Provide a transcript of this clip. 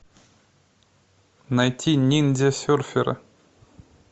найти ниндзя серферы